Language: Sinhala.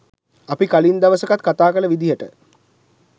අපි කලින් දවසකත් කතාකල විදිහට